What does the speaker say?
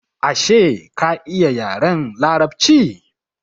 Ashe ka iya yaren larabci?